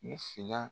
U fila